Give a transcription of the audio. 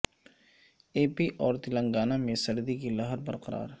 اے P اور تلنگانہ میں سردی کی لہر برقرار